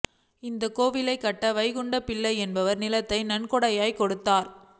இந்தக் கோயில் கட்ட வைகுண்டபிள்ளை என்பவா் நிலத்தை நன்கொடையாக கொடுத்தாா்